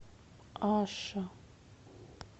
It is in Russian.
аша